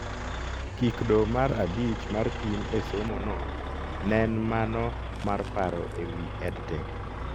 Kikdo mar abich mar pim e somo no nen mano mar paro e wi EdTech